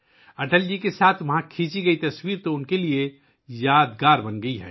اٹل جی کے ساتھ وہاں کلک کی گئی تصویر ان کے لیے یادگار بن گئی ہے